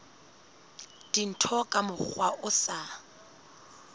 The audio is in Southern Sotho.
dintho ka mokgwa o sa